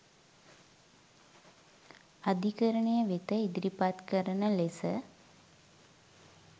අධිකරණය වෙත ඉදිරිපත් කරන ලෙස